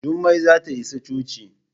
Jummai za ta isa coci.